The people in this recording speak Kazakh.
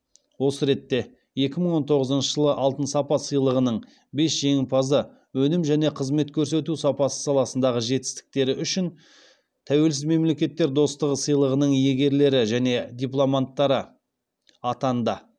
осы ретте екі мың он тоғызыншы жылы алтын сапа сыйлығының бес жеңімпазы өнім және қызмет көрсету сапасы саласындағы жетістіктері үшін тәуелсіз мемлекеттер достығы сыйлығының иегерлері және дипломанттары атанды